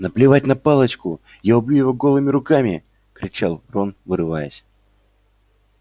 наплевать на палочку я убью его голыми руками кричал рон вырываясь